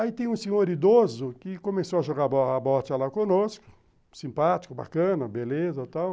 Aí tem um senhor idoso que começou a jogar bote lá conosco, simpático, bacana, beleza e tal.